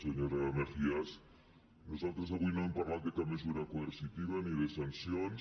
senyora mejías nosaltres avui no hem parlat de cap mesura coercitiva ni de sancions